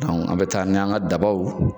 an be taa n'an ka dabɔw